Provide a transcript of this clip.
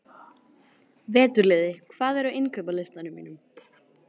Veturliði, hvað er á innkaupalistanum mínum?